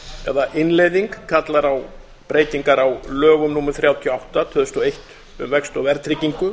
eða innleiðing kallar á breytingar á lögum númer þrjátíu og átta tvö þúsund og eitt um vexti og verðtryggingu